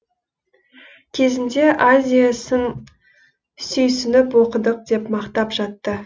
кезінде азия сын сүйсініп оқыдық деп мақтап жатты